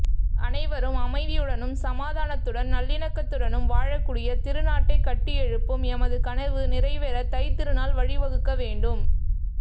அனைவரும் அமைதியுடனும் சமாதானத்துடன் நல்லிணக்கத்துடனும் வாழக்கூடிய திருநாட்டை கட்டியெழுப்பும் எமது கனவு நிறைவேற தைத்திருநாள் வழிவகுக்க வேண்டும்